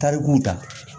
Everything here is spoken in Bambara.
Tarikuw ta